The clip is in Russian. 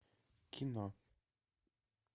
кино